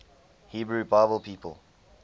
hebrew bible people